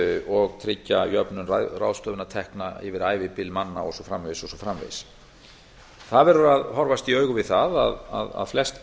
og tryggja jöfnun ráðstöfunartekna yfir ævibil manna og svo framvegis og svo framvegis það verður að horfast í augu við það að flest